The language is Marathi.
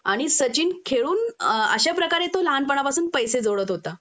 आणि सचिन खेळून अ अश्याप्रकारे तो लहानपणापासून पैसे जोडत होता